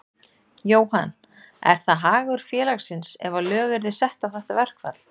Jóhann: Er það hagur félagsins ef að lög yrðu sett á þetta verkfall?